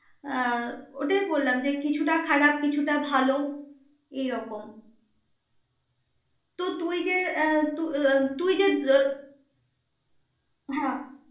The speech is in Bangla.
আহ ওটাই বললাম, যে কিছুটা খারাপ, কিছুটা ভাল এইরকম, তো তুই যে আহ ত~তুই যে হ্যা.